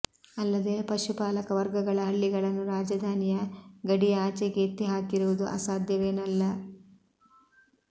ಅಲ್ಲದೆ ಪಶುಪಾಲಕ ವರ್ಗಗಳ ಹಳ್ಳಿಗಳನ್ನು ರಾಜಧಾನಿಯ ಗಡಿಯ ಆಚೆಗೆ ಎತ್ತಿ ಹಾಕಿರುವುದು ಅಸಾಧ್ಯವೇನಲ್ಲ